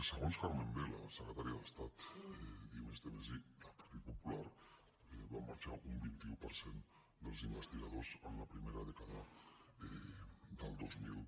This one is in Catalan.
segons carmen vela secretària d’estat d’i+d+i del partit popular van marxar un vint un per cent dels investigadors en la primera dècada del dos mil